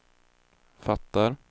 fattar